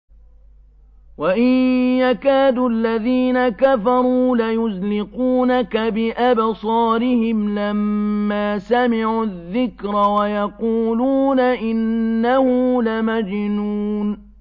وَإِن يَكَادُ الَّذِينَ كَفَرُوا لَيُزْلِقُونَكَ بِأَبْصَارِهِمْ لَمَّا سَمِعُوا الذِّكْرَ وَيَقُولُونَ إِنَّهُ لَمَجْنُونٌ